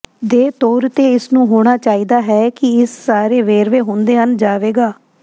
ਦੇ ਤੌਰ ਤੇ ਇਸ ਨੂੰ ਹੋਣਾ ਚਾਹੀਦਾ ਹੈ ਕਿ ਇਹ ਸਾਰੇ ਵੇਰਵੇ ਹੁੰਦੇ ਹਨ ਜਾਵੇਗਾ